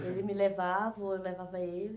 Ele me levava, ou eu levava ele.